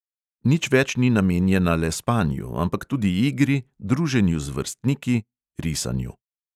Nič več ni namenjena le spanju, ampak tudi igri, druženju z vrstniki, risanju ...